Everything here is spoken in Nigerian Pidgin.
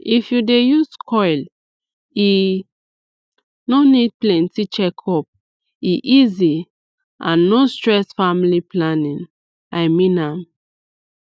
if u dey use coil e no need plenty checkupe easy and no stress family planning i mean am